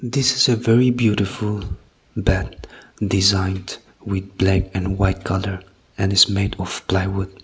this is a very beautiful bed design with black and white colour and made of plain wood.